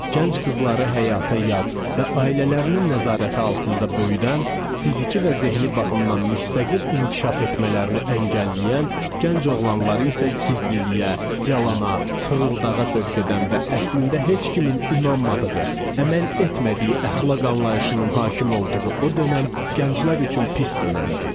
Gənc qızları həyata yad və ailələrinin nəzarəti altında böyüdən, fiziki və zehni baxımdan müstəqil inkişaf etmələrini əngəlləyən, gənc oğlanları isə gizliliyə, yalana, fırıldağa sövq edən və əslində heç kimin inanmadığı, əməl etmədiyi əxlaq anlayışının hakim olduğu o dönəm gənclər üçün pis dönəmdi.